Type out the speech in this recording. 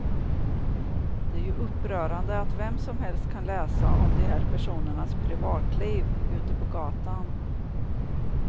Det är ju upprörande att vem som helst kan läsa om de här personernas privatliv ute på gatan.